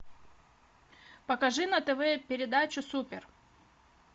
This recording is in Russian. покажи на тв передачу супер